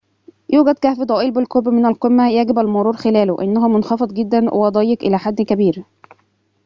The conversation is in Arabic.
يوجد كهف ضئيل بالقرب من القمة يجب المرور خلاله إنه منخفض جداً وضيّق إلى حد كبير